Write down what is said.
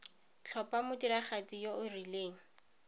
tlhopha modiragatsi yo o rileng